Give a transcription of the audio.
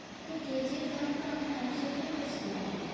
এই K G F one তো আমরা একসাথেই গেছিলাম।